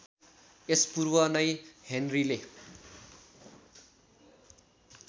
यस पूर्व नै हेनरीले